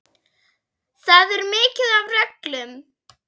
Það er mikið af reglum.